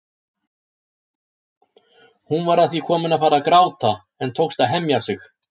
Hún var að því komin að fara að gráta en tókst að hemja sig.